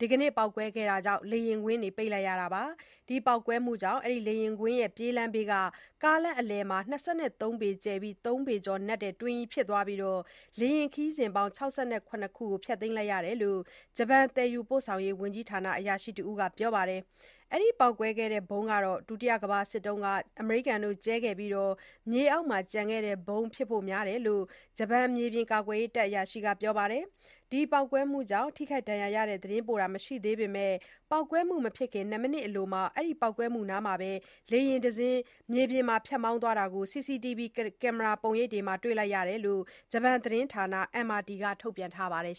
ဒီနေ့ ပေါက်ကွဲတာကြောင့် လေယာဉ်ကွင်းပိတ်လိုက်ရတာပါ။ ဒီ ပေါက်ကွဲမှုကြောင့် Myazaki လေယာဉ်ကွင်း ပြေးလမ်းဘေးက ကားလမ်းအလယ်မှာ ၂၃ ပေကျယ်၊ ၃ ပေကျော်နက်တဲ့ တွင်းကြီးဖြစ်သွားပြီး လေယာဉ်ခရီးစဉ်ပေါင်း ၈၇ ခုကို ဖျက်သိမ်းလိုက်ရတယ်လို့ ဂျပန် သယ်ယူပို့ဆောင်ရေးဝန်ကြီးဌာန အရာရှိတစ်ဦးက ပြောပါတယ်။ ဒီ ပေါက်ကွဲခဲ့တဲ့ဗုံးက ကမ္ဘာစစ်တုန်းထဲက အမေရိကန် ကြဲခဲ့ပြီး မြေအောက်မှာ ကျန်ခဲ့တဲ့ဗုံးဖြစ်ဖို့များကြောင်း ဂျပန် မြေပြင် ကာကွယ်ရေးတပ်အရာရှိက ပြောပါတယ်။ ဒီပေါက်ကွဲမှုကြောင့် ထိခိုက်ဒဏ်ရာရတဲ့ သတင်းပို့တာ မရှိသေးပေမဲ့၊ ပေါက်ကွဲမှုမဖြစ်ခင် ၂ မိနစ်လောက်မှာပဲ ပေါက်ကွဲမှုနားမှာ လေယာဉ်တစ်စီး မြေပြင်ပေါ်မှာပဲ ဖြတ်မောင်းသွားတာကို CCTV ကင်မရာပုံရိပ်တွေထဲ တွေ့လိုက်ရတယ်လို့ ဂျပန် သတင်းဌာန MRT ကတော့ ထုတ်ပြန်ထားပါတယ်